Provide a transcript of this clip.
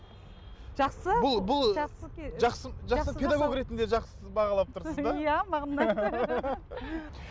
жақсы бұл бұл жақсы жақсы педагог ретінде жақсы бағалап тұрсыз да иә маған ұнайды